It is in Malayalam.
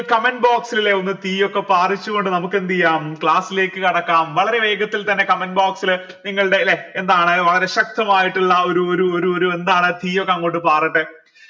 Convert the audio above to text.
comment box ൽ ഒന്ന് തീയൊക്കെ പാറിച്ചുകൊണ്ട് നമുക്കെന്തു ചെയ്യാം class ലേക്ക് കടക്കാം വളരെ വേഗത്തിൽ തന്നെ comment box ൽ നിങ്ങളുടെ ലെ എന്താണ് വളരെ ശക്തമായിട്ടിള്ള ഒരു ഒരു ഒരു എന്താണ് തീയൊക്കെ അങ്ങോട്ട് പാറട്ടെ